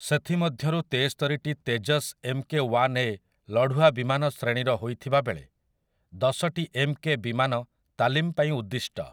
ସେଥିମଧ୍ୟରୁ ତେସ୍ତରିଟି 'Tejas M K one A' ଲଢୁଆ ବିମାନ ଶ୍ରେଣୀର ହୋଇଥିବା ବେଳେ ଦଶଟି 'ଏମ୍ କେ' ବିମାନ ତାଲିମ ପାଇଁ ଉଦ୍ଦିଷ୍ଟ ।